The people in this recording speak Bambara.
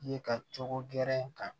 Ye ka cogo gɛrɛ in kan